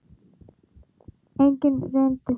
Enginn reyndi það.